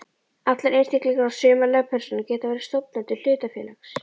Allir einstaklingar og sumar lögpersónur geta verið stofnendur hlutafélags.